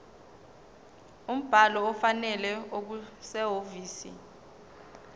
umbhalo ofanele okusehhovisi